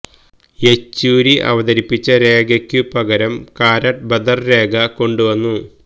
യെച്ചൂരി അവതരിപ്പിച്ച രേഖയ്ക്കു പകരം കാരാട്ട് ബദര് രേഖ കൊണ്ടു വന്നു